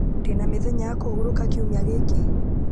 ndĩna mĩthenya ya kũhurũka kiumia gĩkĩ